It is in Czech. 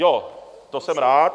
Jo, to jsem rád.